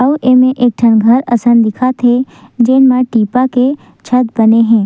आऊ एमे एक ठन घर असन दिखत हे जेन म टीपा के छत बने हे।